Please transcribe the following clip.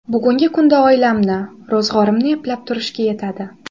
Bugungi kunda oilamni, ro‘zg‘orimni eplab turishga yetadi.